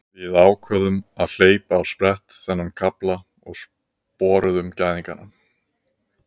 Við ákváðum að hleypa á sprett þennan kafla og sporuðum gæðingana.